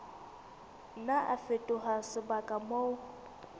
nna a fetoha sebaka moo